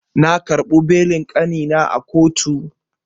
Na karɓo belin kanina a kotu.